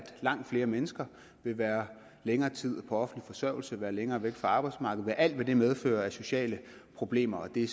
langt flere mennesker vil være længere tid på offentlig forsørgelse og være længere tid væk fra arbejdsmarkedet med alt hvad det medfører af sociale problemer og det